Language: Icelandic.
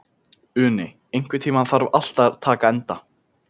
Uni, einhvern tímann þarf allt að taka enda.